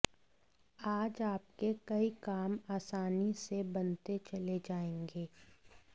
आज आपके कई काम आसानी से बनते चले जाएंगे